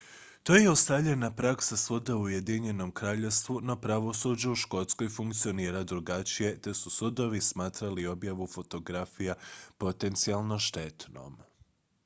to je ustaljena praksa svuda u ujedinjenom kraljevstvu no pravosuđe u škotskoj funkcionira drugačije te su sudovi smatrali objavu fotografija potencijalno štetnom